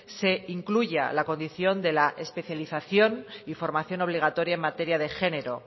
se incluya la condición de la especialización y formación obligatoria en materia de género